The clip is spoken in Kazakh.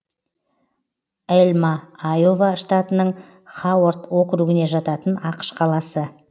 элма айова штатының хауард округіне жататын ақш қаласы